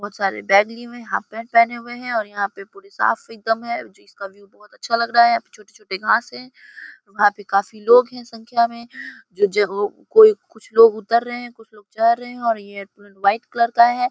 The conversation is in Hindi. बहुत सारे बैग लिए हुए हैं हाफ पैंट पहने हुए हैं और यहां पर पूरी साफ है ओ चीज का व्यू बहुत अच्छा लग रहा है छोटे-छोटे घास है वहां पे काफी लोग हैं संख्या में ज ज वो कोई कुछ लोग उतर रहे है कुछ लोग चढ़ रहे हैं और ये तो व्हाइट कलर की है।